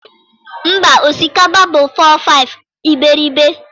mba osikapa bụ 4500 iberibe